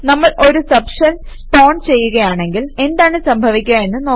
നമ്മൾ ഒരു subshell spawn ചെയ്യുകയാണെങ്കിൽ എന്താണ് സംഭവിക്കുക എന്ന് നോക്കാം